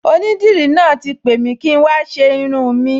Onídìrí náà ti pè mi kí n wá ṣe irun-ùn mi